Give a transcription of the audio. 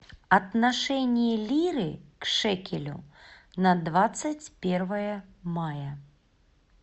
отношение лиры к шекелю на двадцать первое мая